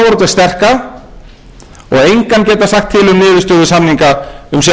sterka og engan geta sagt til um niðurstöðu samninga